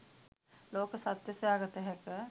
ලෝක සත්‍ය සොයාගත හැක.